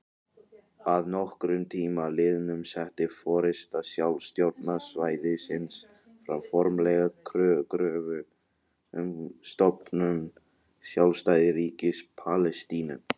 Að nokkrum tíma liðnum setti forysta sjálfstjórnarsvæðisins fram formlega kröfu um stofnun sjálfstæðs ríkis Palestínu.